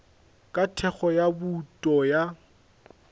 ka thekgo ya bouto ya